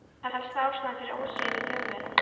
Helsta ástæðan fyrir ósigri Þjóðverja?